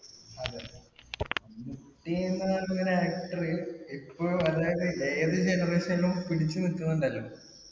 മമ്മൂട്ടിന്ന് പറഞ്ഞ ഒരു actor ഇപ്പോളും ഏതൊരു generation യിലും പിടിച്ചു നില്കുന്നുണ്ടല്ലോ.